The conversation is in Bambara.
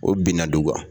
O binna du kan